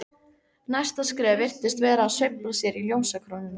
Næsta skref virtist vera að sveifla sér í ljósakrónunum.